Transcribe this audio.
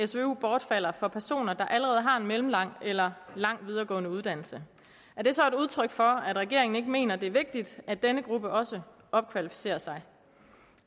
svu bortfalder for personer der allerede har en mellemlang eller lang videregående uddannelse er det så et udtryk for at regeringen ikke mener at det er vigtigt at denne gruppe også opkvalificerer sig